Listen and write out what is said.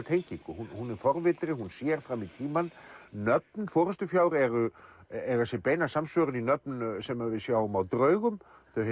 tengingu hún er forvitin hún sér fram í tímann nöfn forystufjár eiga sér beina samsvörun í nöfn sem við sjáum á draugum